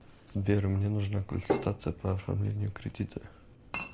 сбер мне нужна консультация по оформлению кредита